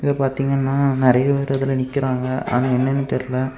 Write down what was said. இத பாத்தீங்கன்னா நெறைய பேர் இதுல நிக்கிறாங்க ஆனா என்னன்னு தெரியல.